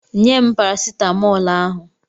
Nye m parasitamọl ahụ!